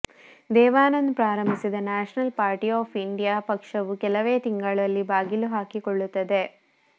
ದೇವಾನಂದ್ ಪ್ರಾರಂಭಿಸಿದ national party of India ಪಕ್ಷವು ಕೆಲವೇ ತಿಂಗಳಲ್ಲಿ ಬಾಗಿಲು ಹಾಕಿಕೊಳ್ಳುತ್ತದೆ